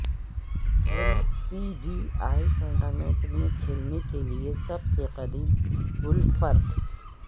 L P G A tournament میں کھیلنے کے لئے سب سے قدیم گولففر